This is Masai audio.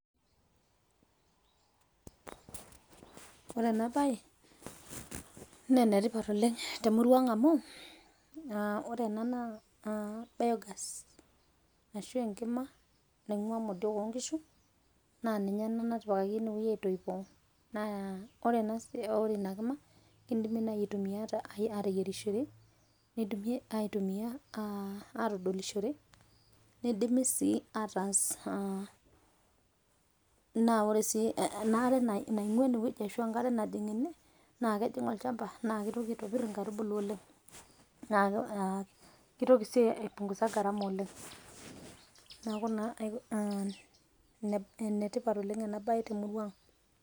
Ore ena baye naa enetipat oleng te murua ang' amu ore ana naa biogas asho enkima naing'ua modiok onkishu naaa ninye ena natipikaki ine weji aitoipo naa ore ina kima keidimi naa aitumiya ateyerishore, neidimi aitumiya atodolishore, neidimi si ataas, naa ore si enaare naing'ua ene weji ashu enkare najing' ene naa kejing' olchamba naa keitoki aitibir nkarubuli oleng neaku keitoki si aipunguza gharama oleng, neaku naa enetipat oleng ena baye te murua aang',